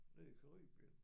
Nede i Caribien